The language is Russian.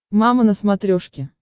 мама на смотрешке